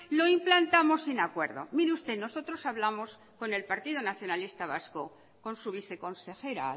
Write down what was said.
lo implantamos sin acuerdo mire usted nosotros hablamos con el partido nacionalista vasco con su viceconsejera